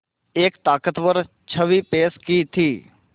एक ताक़तवर छवि पेश की थी